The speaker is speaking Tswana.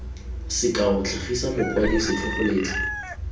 sekao tlhagisa mokwadi setlhogo letlha